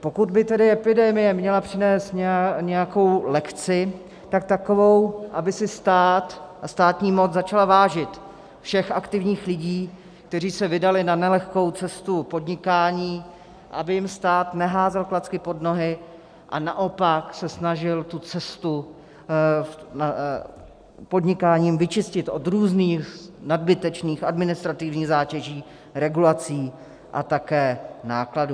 Pokud by tedy epidemie měla přinést nějakou lekci, tak takovou, aby si stát a státní moc začaly vážit všech aktivních lidí, kteří se vydali na nelehkou cestu podnikání, aby jim stát neházel klacky pod nohy a naopak se snažil tu cestu podnikání vyčistit od různých nadbytečných administrativních zátěží, regulací a také nákladů.